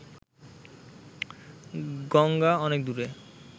গঙ্গা অনেক দূরে